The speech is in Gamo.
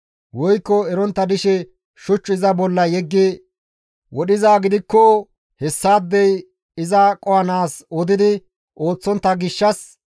woykko erontta dishe shuch iza bolla yeggi wodhizaa gidikko hessaadey iza qohanaas odi ooththontta gishshas,